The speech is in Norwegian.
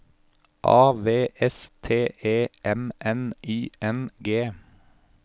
A V S T E M N I N G